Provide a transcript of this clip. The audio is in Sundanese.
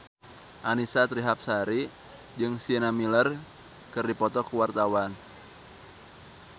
Annisa Trihapsari jeung Sienna Miller keur dipoto ku wartawan